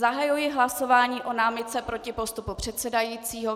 Zahajuji hlasování o námitce proti postupu předsedajícího.